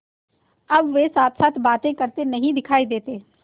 अब वे साथसाथ बातें करते नहीं दिखायी देते